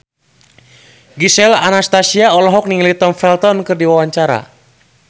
Gisel Anastasia olohok ningali Tom Felton keur diwawancara